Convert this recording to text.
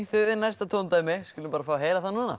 þið eigið næsta tóndæmi við skulum fá að heyra það núna